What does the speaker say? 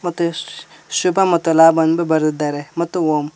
ಮತ್ತು ಇಸ್ ಶುಭ ಮತ್ತ ಲಾಭ ಅಂದು ಬರದಿದ್ದಾರೆ ಮತ್ತು ಓಮ್--